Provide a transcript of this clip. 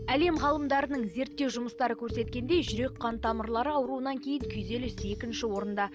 әлем ғалымдарының зерттеу жұмыстары көрсеткендей жүрек қан тамырлары ауруларынан кейін күйзеліс екінші орында